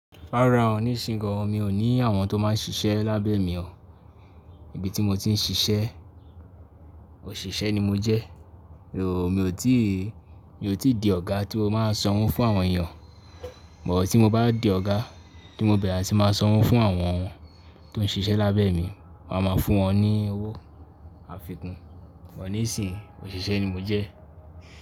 Farahan, ní ìsínyì í gàn, mi ò ní àwọn tó máa ń ṣiṣẹ́ lábẹ́ mi o. Ibi tí mo ti ń ṣiṣẹ́, òṣìṣẹ́ ni mo jẹ́. Ooo, mi ò tí, mi ò tí di ọ̀gá tí ó máa ń san owo fún àwọn èèyàn. Bọ̀ tí mo bá di ọ̀gá, tí mo bẹ̀rẹ̀, a sì máa san owo fún àwọn tó ń ṣiṣẹ́ lábẹ́ mi. Wọ́n á máa fún wọn ní owó àfikún. Bọ̀ ní ìsìn, òṣìṣẹ́ ni mo jẹ́